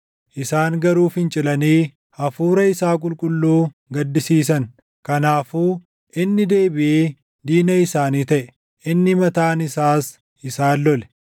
Isaan garuu fincilanii Hafuura isaa Qulqulluu gaddisiisan. Kanaafuu inni deebiʼee diina isaanii taʼe; inni mataan isaas isaan lole.